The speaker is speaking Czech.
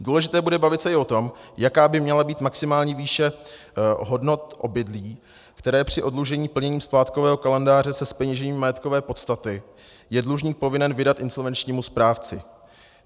Důležité bude bavit se i o tom, jaká by měla být maximální výše hodnot obydlí, které při oddlužení plněním splátkového kalendáře se zpeněžením majetkové podstaty je dlužník povinen vydat insolvenčnímu správci.